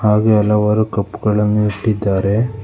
ಹಾಗೆ ಹಲವರು ಕಪ್ ಗಳನ್ನು ಇಟ್ಟಿದ್ದಾರೆ.